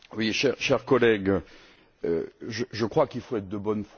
Cher collègue, je crois qu'il faut être de bonne foi.